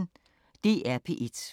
DR P1